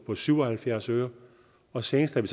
på syv og halvfjerds øre og senest har vi